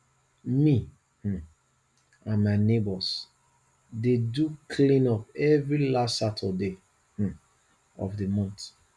me um and my neighbours dey do clean up every last saturday um of the month